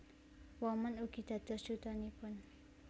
Woman ugi dados Dutanipun